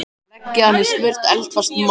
Leggið hann í smurt eldfast mót.